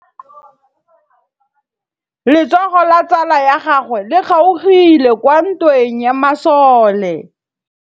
Letsôgô la tsala ya gagwe le kgaogile kwa ntweng ya masole.